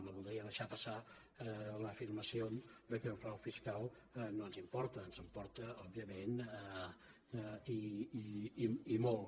no voldria deixar passar l’afirmació que el frau fiscal no ens importa ens importa òbviament i molt